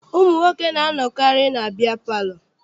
Ụmụ nwoke na-anọkarị na biya palọ.